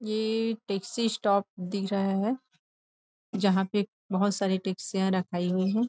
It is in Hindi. ये टेक्सी स्टॉप दिख रहा है जहाँ पे बहुत सारी टैक्सियाँ रखाई हुई है।